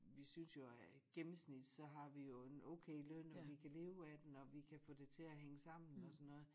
Vi synes jo at gennemsnit så har vi jo en okay løn og vi kan leve af den og vi kan få det til at hænge sammen og sådan noget